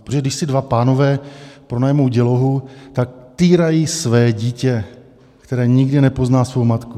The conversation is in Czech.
Protože když si dva pánové pronajmou dělohu, tak týrají své dítě, které nikdy nepozná svou matku.